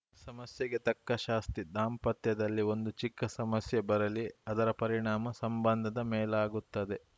ಸಮಸ್ಯೆಗೆ ತಕ್ಕ ಶಾಸ್ತಿ ದಾಂಪತ್ಯದಲ್ಲಿ ಒಂದು ಚಿಕ್ಕ ಸಮಸ್ಯೆ ಬರಲಿ ಅದರ ಪರಿಣಾಮ ಸಂಬಂಧದ ಮೇಲಾಗುತ್ತದೆ